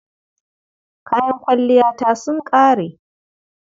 Kayan kwalliyata sun ƙare.